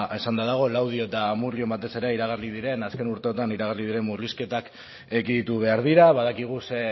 esanda dago laudio eta amurrion batez ere iragarri diren azken urteotan iragarri diren murrizketak ekiditu behar dira badakigu ze